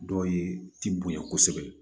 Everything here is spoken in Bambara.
Dɔw ye tonya kosɛbɛ